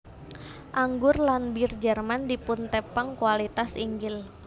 Anggur lan bir Jerman dipuntepang kualitas inggil